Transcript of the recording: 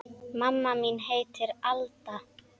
Mamma mín heitir Alda.